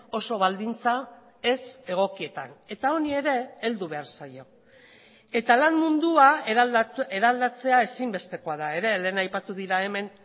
oso baldintza ez egokietan eta honi ere heldu behar zaio eta lan mundua eraldatzea ezinbestekoa da ere lehen aipatu dira hemen